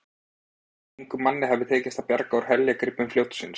Engum manni hafði tekist að bjarga úr heljargreipum fljótsins.